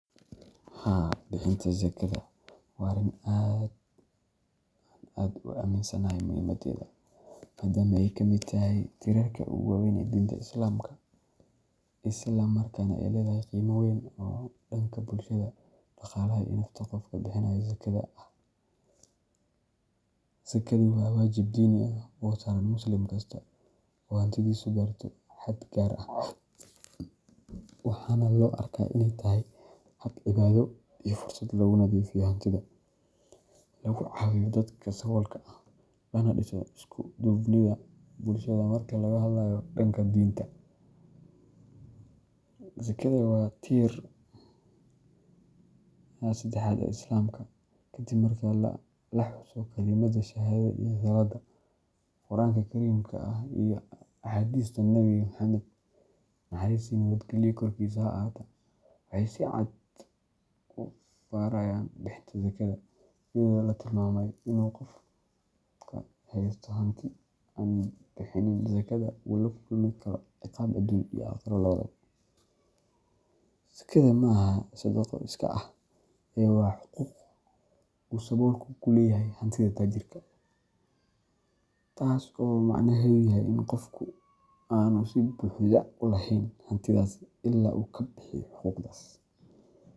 Haa, bixinta zakada waa arrin aan aad u aaminsanahay muhiimaddeeda, maadaama ay ka mid tahay tiirarka ugu waaweyn ee diinta Islaamka, isla markaana ay leedahay qiimo weyn oo dhanka bulshada, dhaqaalaha, iyo nafta qofka bixinaya zakada ah. Zakadu waa waajib diini ah oo saaran muslim kasta oo hantidiisu gaarto xad gaar ah, waxaana loo arkaa inay tahay hab cibaado iyo fursad lagu nadiifiyo hantida, lagu caawiyo dadka saboolka ah, lana dhiso isku-duubnida bulshada. Marka laga hadlayo dhanka diinta, zakada waa tiirka saddexaad ee Islaamka, kaddib marka la xuso kalimadda shahaadada iyo salaadda. Qur’aanka Kariimka ah iyo axaadiista Nebi Muxammad (NNKH) waxay si cad u farayaan bixinta zakada, iyadoo la tilmaamay in qofka haysta hanti aan bixinin zakada uu la kulmi karo ciqaab adduun iyo aakhiro labadaba. Zakada ma aha sadaqo iskaa ah, ee waa xuquuq uu saboolku ku leeyahay hantida taajirka, taas oo macnaheedu yahay in qofku aanu si buuxda u lahayn hantidiisa ilaa uu ka bixiyo xuquuqdaas.